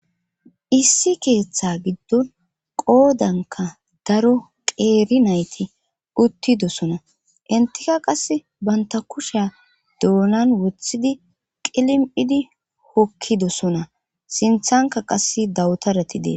issi keeththa giddon qoodanka daro qeeri nayti uttidosona intika qas banta kusheya doonan wothidi qilimpidi hokkidosona sinthanka qass dawutarati dees